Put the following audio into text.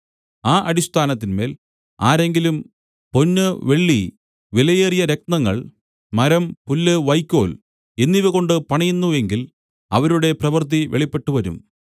ആ അടിസ്ഥാനത്തിന്മേൽ ആരെങ്കിലും പൊന്ന് വെള്ളി വിലയേറിയ രത്നങ്ങൾ മരം പുല്ല് വൈക്കോൽ എന്നിവകൊണ്ട് പണിയുന്നു എങ്കിൽ അവരുടെ പ്രവൃത്തി വെളിപ്പെട്ടുവരും